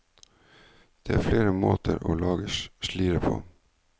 Det er flere måter å lage slire på.